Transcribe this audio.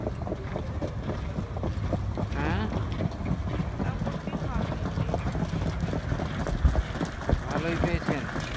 হ্যাঁ মোটামুটি ভালোই পেয়েছি ভালোই পেয়েছেন